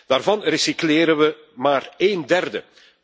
Daarvan recycleren we maar een derde.